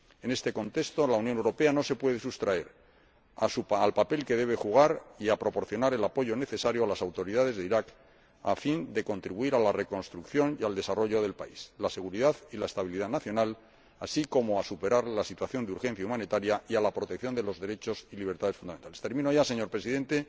En este contexto, la Unión Europea no se puede sustraer al papel que debe jugar y a proporcionar el apoyo necesario a las autoridades de Irak, a fin de contribuir a la reconstrucción y al desarrollo del país, a la seguridad y la estabilidad nacional, así como a superar la situación de urgencia humanitaria, y a la protección de los derechos y libertades fundamentales. Termino ya, señor Presidente,